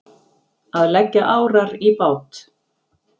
Að leggja árar í bát